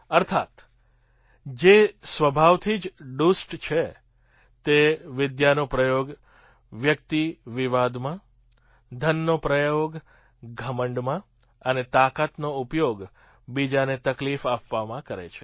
અર્થાત્ જે સ્વભાવથી જ દુષ્ટ છે તે વિદ્યાનો પ્રયોગ વ્યક્તિ વિવાદમાં ધનનો પ્રયોગ ઘમંડમાં અને તાકાતનો ઉપયોગ બીજાને તકલીફ આપવામાં કરે છે